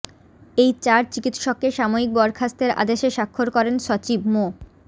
এই চার চিকিৎসককে সাময়িক বরখাস্তের আদেশে স্বাক্ষর করেন সচিব মো